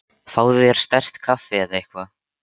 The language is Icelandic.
Fáðu þér sterkt kaffi eða eitthvað.